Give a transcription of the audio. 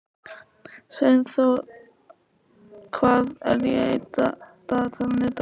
Sveinþór, hvað er á dagatalinu í dag?